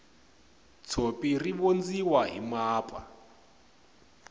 tshopi ri vondziwa hi mapa